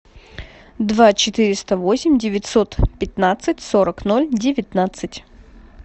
два четыреста восемь девятьсот пятнадцать сорок ноль девятнадцать